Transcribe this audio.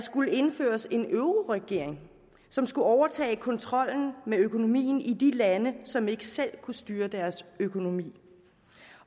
skulle indføres en euroregering som skulle overtage kontrollen med økonomien i de lande som ikke selv kunne styre deres økonomi